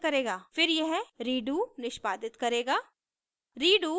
फिर यह redo निष्पादित करेगा